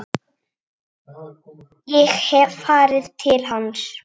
Ég hef farið til hans.